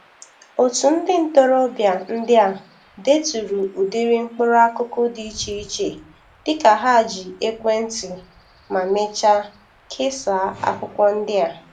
Otu ndị ntorobia ndị a deturu udiri mkpuru akụkụ dị iche iche dịka ha ji ekwe nti ma mechaa kesa akwukwo ndi a.